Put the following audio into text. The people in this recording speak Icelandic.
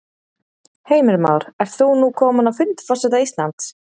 Heimir Már: Ert þú nú kominn á fund forseta Íslands?